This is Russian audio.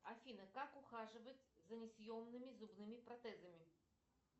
афина как ухаживать за несъемными зубными протезами